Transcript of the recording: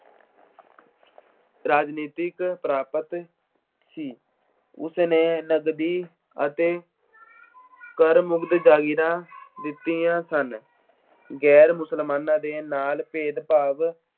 ਰਾਜਨੀਤਿਕ ਪ੍ਰਾਪਤ ਸੀ। ਉਸਨੇ ਨਗਦੀ ਅਤੇ ਜਾਗੀਰਾਂ ਦਿੱਤੀਆਂ ਸਨ। ਗੈਰ ਮੁਸਲਮਾਨਾਂ ਦੇ ਨਾਲ ਭੇਦਭਾਵ